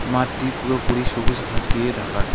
মাঠটি পুরোপুরি সবুজ ঘাস দিয়ে ঢাকা।